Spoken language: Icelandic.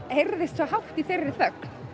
heyrðist svo hátt í þeirri þögn